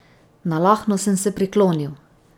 Nalahno sem se priklonil.